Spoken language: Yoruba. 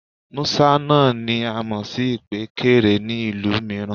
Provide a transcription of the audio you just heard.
Mọ́sà náà ni a mọ̀ sí ìpékeré ní ìlú mìíràn